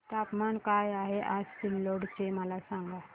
तापमान काय आहे आज सिल्लोड चे मला सांगा